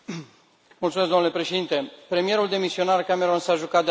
Domnule președinte, premierul demisionar Cameron s a jucat de a Dumnezeu.